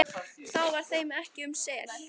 þá var þeim ekki um sel,